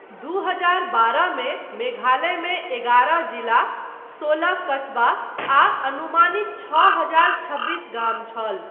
दू हजार बारह मे मेघालयमे एगारह जिला, सोलह कस्बा आ अनुमानित छओ हजार छब्बीस गाम छल।